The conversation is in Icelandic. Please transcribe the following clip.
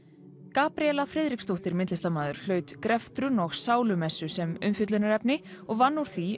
Gabríela Friðriksdóttir myndlistarmaður hlaut greftrun og sálumessu sem umfjöllunarefni og vann úr því